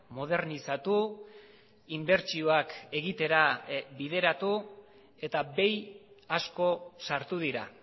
modernizatu inbertsioak egitera bideratu eta behi asko sartu dira